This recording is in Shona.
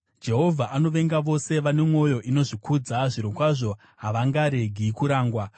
Jehovha anovenga vose vane mwoyo inozvikudza. Zvirokwazvo, havangaregi kurangwa.